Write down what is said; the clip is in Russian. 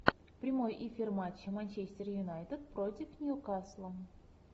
прямой эфир матча манчестер юнайтед против ньюкасла